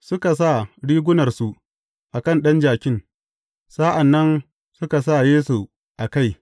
Suka sa rigunarsu a kan ɗan jakin, sa’an nan suka sa Yesu a kai.